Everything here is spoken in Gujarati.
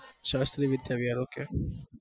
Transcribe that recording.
શાસ્ત્રીમ્હ વિદ્યાલય okay